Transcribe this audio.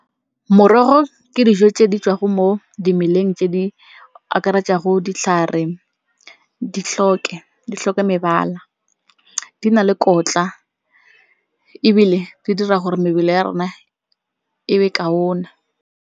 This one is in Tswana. Morogo ke dijo tse di tswa go mo dimeleng tse di akaretsang go ditlhare, di tlhoke mebala. Di na le kotla ebile di dira gore mebele ya rona e be kaona.